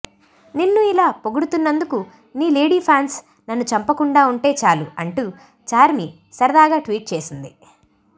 నిన్ను ఇలా పొగుడుతున్నందుకు నీ లేడీ ఫ్యాన్స్ నన్ను చంపకుండా ఉంటె చాలు అంటూ చార్మి సరదాగా ట్వీట్ చేసింది